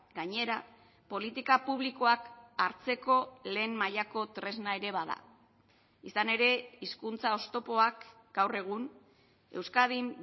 gainera politika publikoak hartzeko lehen mailako tresna ere bada izan ere hizkuntza oztopoak gaur egun euskadin